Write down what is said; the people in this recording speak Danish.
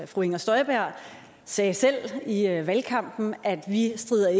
fru inger støjberg sagde selv i valgkampen at vi